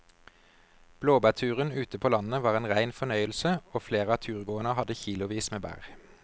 Blåbærturen ute på landet var en rein fornøyelse og flere av turgåerene hadde kilosvis med bær.